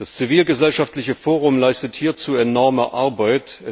Das zivilgesellschaftliche Forum leistet hierzu enorme Arbeit.